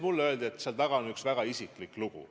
Mulle öeldi, et seal taga on üks väga isiklik lugu.